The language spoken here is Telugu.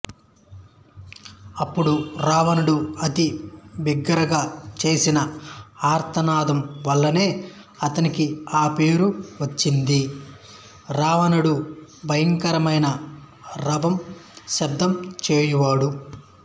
అప్పుడు రావణుడు అతి బిగ్గరగా చేసిన ఆర్తనాదం వల్లనే అతనికి ఆ పేరు వచ్చింది రావణుడుభయంకరమైన రవం శబ్దం చేయువాడు